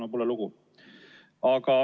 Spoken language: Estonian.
Aga pole lugu.